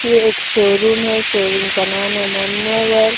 एक शोरूम है शोरूम का नाम है मान्यवर।